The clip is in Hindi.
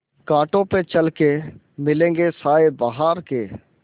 कांटों पे चल के मिलेंगे साये बहार के